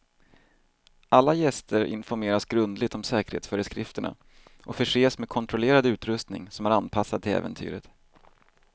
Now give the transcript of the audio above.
Alla gäster informeras grundligt om säkerhetsföreskrifterna och förses med kontrollerad utrustning som är anpassad till äventyret.